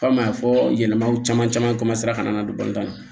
Komi a y'a fɔ yɛlɛmaw caman caman ka na don na